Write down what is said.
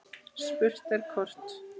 Spurt er hvort